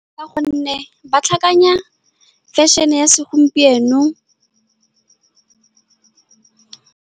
Ka gonne ba tlhakanya fashion-e ya segompieno.